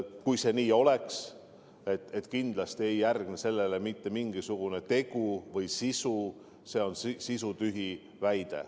Kui see nii oleks, et kindlasti ei järgne sellele mitte mingisugust tegu, siis see on sisutühi väide.